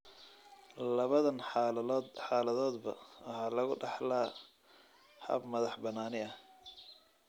Labadan xaaladoodba waxa lagu dhaxlaa hab madax-bannaani ah.